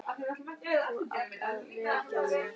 Þú átt að vekja mig.